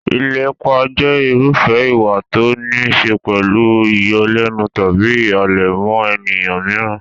Ìlépa jẹ́ irúfẹ́ ìwà tó níí ṣe pẹ̀lú ìyọlẹ́nu tàbí ìhàlẹ̀ mọ́ ènìyàn mìíràn.